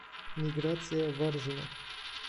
миграция варзина